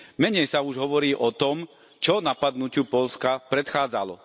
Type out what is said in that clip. Menej sa už hovorí o tom, čo napadnutiu Poľska predchádzalo.